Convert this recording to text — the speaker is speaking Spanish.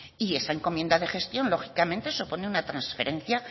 y esa encomienda de gestión lógicamente supone una transferencia